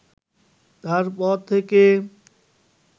তারপর থেকে